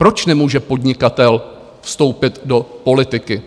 Proč nemůže podnikatel vstoupit do politiky?